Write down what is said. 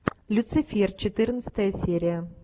люцифер четырнадцатая серия